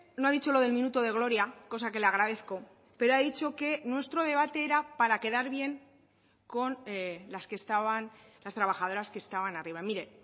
no ha dicho lo del minuto de gloria cosa que le agradezco pero ha dicho que nuestro debate era para quedar bien con las que estaban las trabajadoras que estaban arriba mire